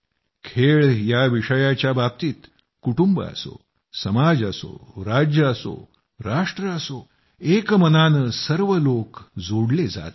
खेळ याविषयाच्याबाबतीत कुटुंब असो समाज असो राज्य असो राष्ट्र असो एक मनानं सर्व लोक जोडले जात आहेत